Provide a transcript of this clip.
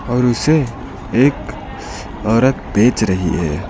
और उसे एक औरत बेच रही है।